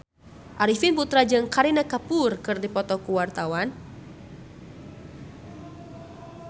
Arifin Putra jeung Kareena Kapoor keur dipoto ku wartawan